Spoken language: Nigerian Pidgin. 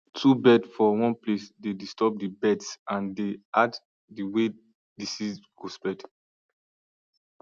too bird for one place dey disturb the birds and dey add the way disease go spread